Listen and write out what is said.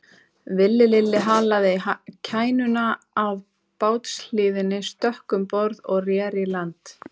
Villi Lilli halaði kænuna að bátshliðinni, stökk um borð og reri í land.